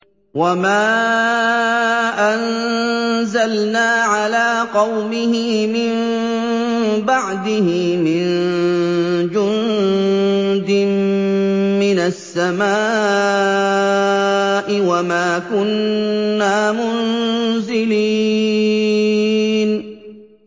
۞ وَمَا أَنزَلْنَا عَلَىٰ قَوْمِهِ مِن بَعْدِهِ مِن جُندٍ مِّنَ السَّمَاءِ وَمَا كُنَّا مُنزِلِينَ